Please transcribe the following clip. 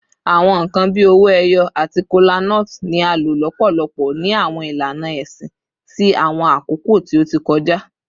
Awọn nkan bii owo eyo ati kolanut ni a lo lọpọlọpọ ni awọn ilana ẹsin ti awọn akoko ti o ti kọja